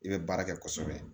I bɛ baara kɛ kosɛbɛ